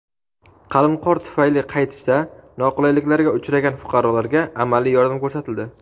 qalin qor tufayli qaytishda noqulayliklarga uchragan fuqarolarga amaliy yordam ko‘rsatildi.